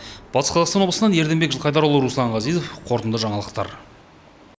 батыс қазақстан облысынан ерденбек жылқайдарұлы руслан ғазизов қорытынды жаңалықтар